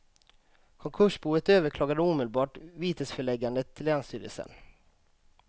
Konkursboet överklagade omedelbart vitesföreläggandet till länsstyrelsen.